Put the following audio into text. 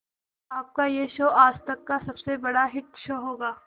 आपका यह शो आज तक का सबसे बड़ा हिट शो होगा